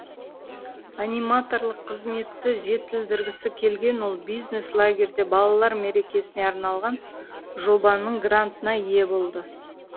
аниматорлық қызметті жетілдіргісі келген ол бизнес лагерьде балалар мерекесіне арналған жобаның грантына ие болды